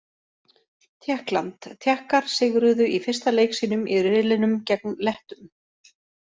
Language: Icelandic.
Tékkland: Tékkar sigruðu í fyrsta leik sínum í riðlinum gegn Lettum.